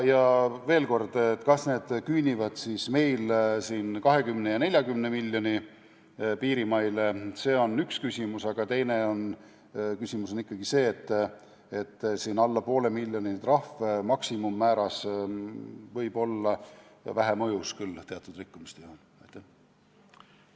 Veel kord: kas need trahvid küündivad meil 20 ja 40 miljoni piirimaile, on üks küsimus, aga teine küsimus on ikkagi see, et kui trahvi maksimummäär on alla poole miljoni, siis see võib teatud rikkumiste puhul olla küll vähe mõjus.